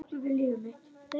Og hættum þessu hangsi.